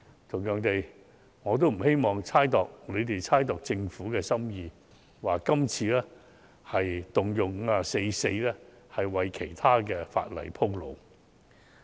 同樣地，我也不希望他們猜度政府的心意，指政府這次引用《議事規則》第544條，是為其他法例鋪路。